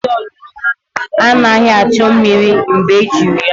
Ụlọ mposi olulu anaghị achọ mmiri mgbe ejiri ya.